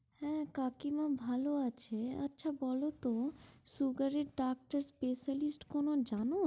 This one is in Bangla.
হ্যাঁ কাকিমা ভালো আছে, আচ্ছা বলতো সুগারের ডাক্তার specialist কোনো জানো?